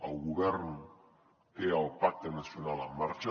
el govern té el pacte nacional en marxa